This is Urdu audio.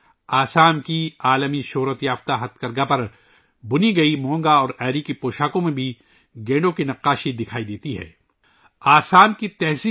گینڈے کی تصویر یں آسام کے دنیا بھر میں معروف مونگا اور ایری کے بنائی والے کپڑوں پر بھی دیکھی جا سکتی ہیں